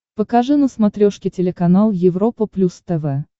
покажи на смотрешке телеканал европа плюс тв